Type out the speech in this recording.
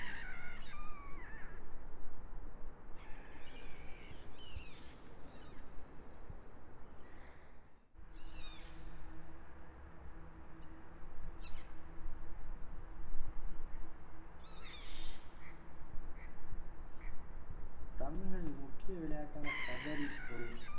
தமிழனின் முக்கிய விளையாட்டான கபடி ஒரு